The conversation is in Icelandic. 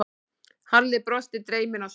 Halli brosti, dreyminn á svip.